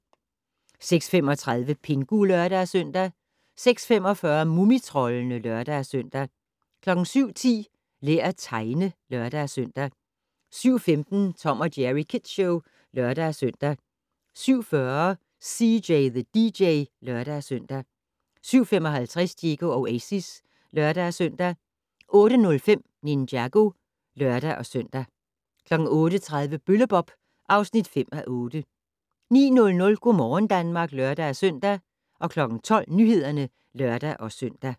06:35: Pingu (lør-søn) 06:45: Mumitroldene (lør-søn) 07:10: Lær at tegne (lør-søn) 07:15: Tom & Jerry Kids Show (lør-søn) 07:40: CJ the DJ (lør-søn) 07:55: Diego Oasis (lør-søn) 08:05: Ninjago (lør-søn) 08:30: Bølle-Bob (5:8) 09:00: Go' morgen Danmark (lør-søn) 12:00: Nyhederne (lør-søn)